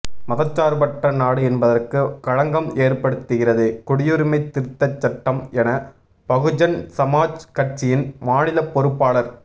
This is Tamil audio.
மதசாா்பற்ற நாடு என்பதற்கு களங்கம் ஏற்படுத்துகிறது குடியுரிமை திருத்தச் சட்டம் என பகுஜன்சமாஜ் கட்சியின் மாநிலப் பொறுப்பாளா்